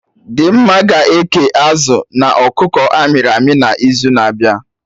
Dimma ga-eke azụ na ọkụkọ amịrị amị na izu na abịa